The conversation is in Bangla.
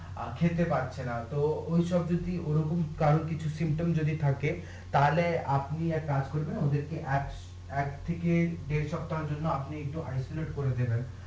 আর খেতে পারছে না তো ঐসব যদি ওরকম কারোর কিছু যদি থাকে তাহলে আপনি এক কাজ করবেন ওদের কে এক এক থেকে দেড়া সপ্তাহর জন্য করে দেবেন